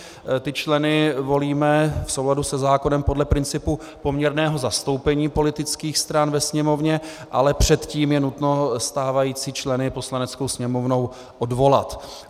Ty členy volíme v souladu se zákonem podle principu poměrného zastoupení politických stran ve Sněmovně, ale předtím je nutno stávající členy Poslaneckou sněmovnou odvolat.